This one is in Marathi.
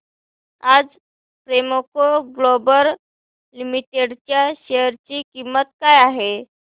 आज प्रेमको ग्लोबल लिमिटेड च्या शेअर ची किंमत काय आहे